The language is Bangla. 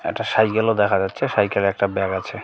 একটা সাইকেলও -ও দেখা যাচ্ছে সাইকেলে -এ একটা ব্যাগ আছে।